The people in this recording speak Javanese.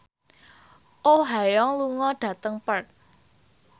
Oh Ha Young lunga dhateng Perth